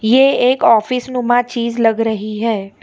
ये एक ऑफिस नुमा चीज लग रही है।